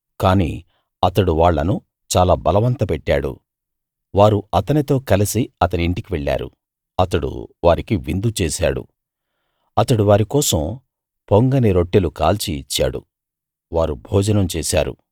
కానీ అతడు వాళ్ళను చాలా బలవంతపెట్టాడు వారు అతనితో కలసి అతని ఇంటికి వెళ్ళారు అతడు వారికి విందు చేశాడు అతడు వారి కోసం పొంగని రొట్టెలు కాల్చి ఇచ్చాడు వారు భోజనం చేశాడు